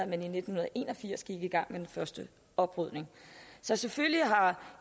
man i nitten en og firs gik i gang med den første oprydning så selvfølgelig har